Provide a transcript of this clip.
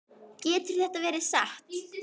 Getur þetta verið satt?